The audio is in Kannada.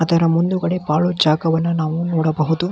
ಅದರ ಮುಂದುಗಡೆ ಪಾಳು ಜಾಗವನ್ನು ನಾವು ನೋಡಬಹುದು